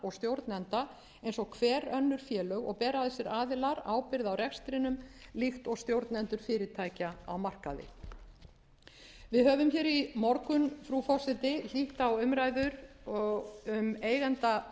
og stjórnenda eins og hver önnur félög og bera þessir aðilar ábyrgð á rekstrinum líkt og stjórnendur fyrirtækja á markaði við höfum hér í morgun frú forseti hlýtt á umræður um drög